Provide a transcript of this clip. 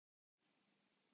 Sanngjarn dómur?